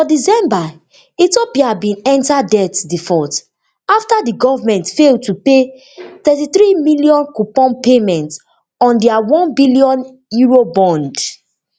for december ethiopia bin enta debt default afta di goment fail to pay thirty-three million coupon payment on dia onebn eurobond